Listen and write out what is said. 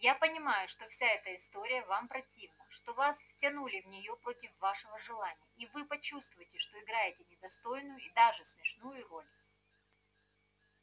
я понимаю что вся эта история вам противна что вас втянули в неё против вашего желания и вы почувствуете что играете недостойную и даже смешную роль